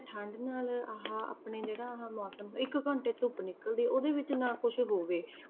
ਠੰਢ ਨਾਲ ਆਹ ਆਪਣੇ ਜਿਹੜਾ ਆਹ ਮੌਸਮ ਇੱਕ ਘੰਟੇ ਧੁੱਪ ਨਿਕਲਦੀ ਹੈ ਉਹ ਵੀ ਨਾ ਕੁਛ ਹੋਵੇ।